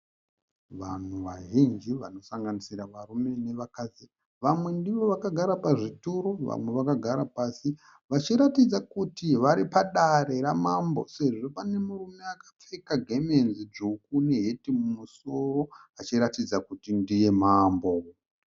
Vanhu vazhinji vanosanganisira varume nevakadzi. Vamwe ndivo vakagara pazvituro, vamwe vakagara pasi vachiratidza kuti vari padare ramambo sezvo pane murume akapfeka gemenzi dzvuku neheti mumusoro achiratidza kuti ndiye mambo